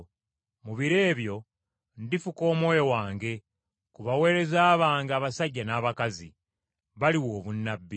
Mu biro ebyo ndifuka Omwoyo wange, ku baweereza bange abasajja n’abakazi; baliwa obunnabbi.